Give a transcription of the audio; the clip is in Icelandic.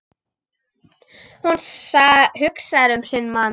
Hún hugsar um sinn mann.